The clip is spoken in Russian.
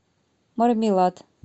мармелад